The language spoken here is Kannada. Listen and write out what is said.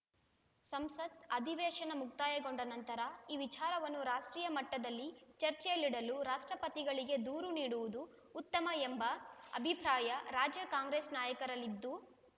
ಸಂಸತ್‌ ಅಧಿವೇಶನ ಮುಕ್ತಾಯಗೊಂಡ ನಂತರ ಈ ವಿಚಾರವನ್ನು ರಾಷ್ಟ್ರೀಯ ಮಟ್ಟದಲ್ಲಿ ಚರ್ಚೆಯಲ್ಲಿಡಲು ರಾಷ್ಟ್ರಪತಿಗಳಿಗೆ ದೂರು ನೀಡುವುದು ಉತ್ತಮ ಎಂಬ ಅಭಿಪ್ರಾಯ ರಾಜ್ಯ ಕಾಂಗ್ರೆಸ್‌ ನಾಯಕರಲ್ಲಿದ್ದು